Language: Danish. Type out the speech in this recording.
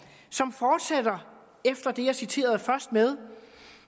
som fortsætter efter det jeg citerede først med